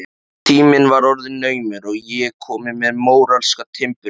Tíminn var orðinn naumur og ég komin með móralska timburmenn.